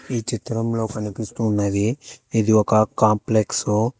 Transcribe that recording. ఈ చిత్రంలో కనిపిస్తూ ఉన్నది ఇది ఒక కాంప్లెక్స్ .